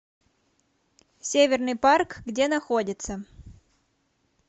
северный парк где находится